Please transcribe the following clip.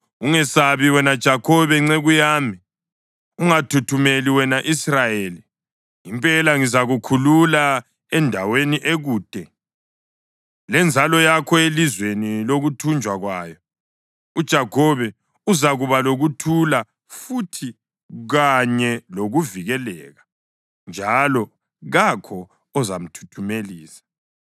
“Ungesabi, wena Jakhobe nceku yami; ungathuthumeli, wena Israyeli. Impela ngizakukhulula endaweni ekude, lenzalo yakho elizweni lokuthunjwa kwayo. UJakhobe uzakuba lokuthula futhi kanye lokuvikeleka, njalo kakho ozamthuthumelisa.